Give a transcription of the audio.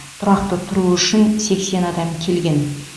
тұрақты тұру үшін сексен адам келген